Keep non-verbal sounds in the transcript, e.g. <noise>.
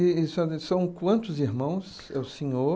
E, <unintelligible> são quantos irmãos? É o senhor...